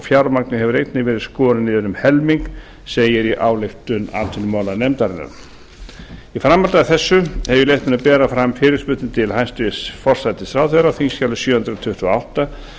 fjármagnið hefur einnig verið skorið niður um helming segir í ályktun atvinnumálanefndarinar í framhaldi af þessu hef ég leyft mér að bera fram fyrirspurnir til hæstvirts forsætisráðherra á þingskjali sjö hundruð tuttugu og átta